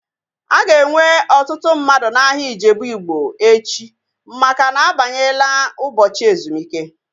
A ga-enwe ọtụtụ mmadụ n'ahia Ijebu Ịgbo echi maka na-abanyela ụbọchị ezumike